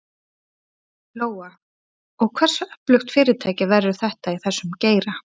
Lóa: Og hversu öflugt fyrirtæki verður þetta í þessum geira?